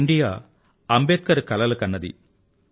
ఆ ఇండియా అంబేద్కర్ కలలు కన్నది